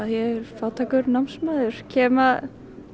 ég er fátækur námsmaður kem